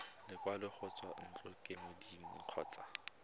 lekwalo go tswa ntlokemeding kgotsa